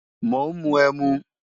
Mò ń mu ẹmu